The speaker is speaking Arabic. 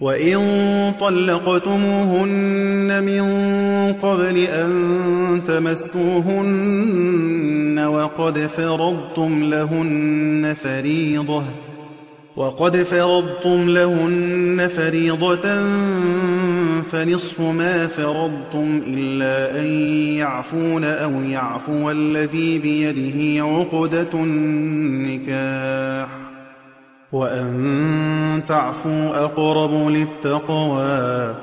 وَإِن طَلَّقْتُمُوهُنَّ مِن قَبْلِ أَن تَمَسُّوهُنَّ وَقَدْ فَرَضْتُمْ لَهُنَّ فَرِيضَةً فَنِصْفُ مَا فَرَضْتُمْ إِلَّا أَن يَعْفُونَ أَوْ يَعْفُوَ الَّذِي بِيَدِهِ عُقْدَةُ النِّكَاحِ ۚ وَأَن تَعْفُوا أَقْرَبُ لِلتَّقْوَىٰ ۚ